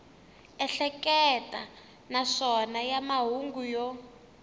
ehleketa naswona ya mahungu yo